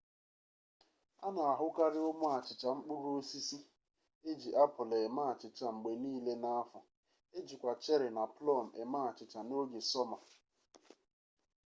a na-ahụkarị ụmụ achịcha mkpụrụ osisi e ji apụl eme achịcha mgbe niile n'afọ ejikwa cheri na plọm eme achịcha n'oge sọma